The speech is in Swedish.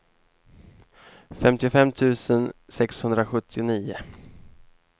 femtiofem tusen sexhundrasjuttionio